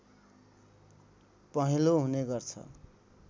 पहेँलो हुने गर्छ